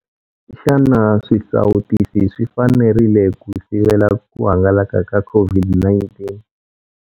Xana swisawutisi swi fanerile ku sivela ku hangalaka ka COVID-19?